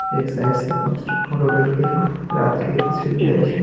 एक साइड से फोटो लेल गेल है रत के तस्वीर बुझाई छै।